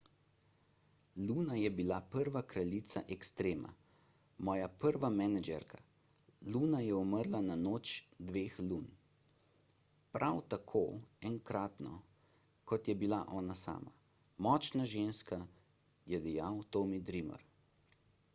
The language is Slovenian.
luna je bila prva kraljica extrema moja prva menedžerka luna je umrla na noč dveh lun prav tako enkratno kot je bila ona sama močna ženska je dejal tommy dreamer